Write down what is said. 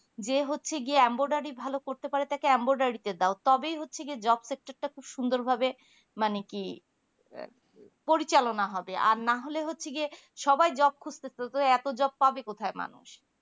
যে হচ্ছে গিয়ে ambotari ভালো করতে পারে তাকে ambotari দাও তবেই হচ্ছে গিয়ে job sector টা খুব সুন্দর ভাবে মানে কি পরিচালনা হবে আর না হলে হচ্ছে গিয়ে সবাই job খুঁটছে তো এত job পাবে কোথায় মানুষ